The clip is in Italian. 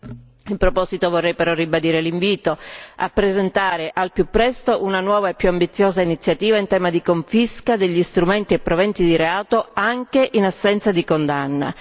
A tal proposito però, vorrei ribadire l'invito a presentare al più presto una nuova e più ambiziosa iniziativa in tema di confisca degli strumenti e proventi di reati, anche in assenza di condanna